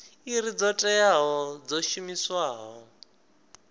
iri dzo teaho dzo shumiwaho